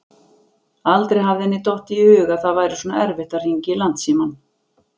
Aldrei hafði henni dottið í hug að það væri svona erfitt að hringja í Landsímann.